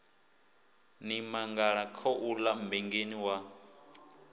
ni mangala khouḽa mmbengeni wa